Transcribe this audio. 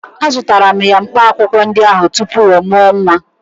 Azụtara m ya mkpaakwụkwọ ndị ahụ tupu ọ mụọ nwa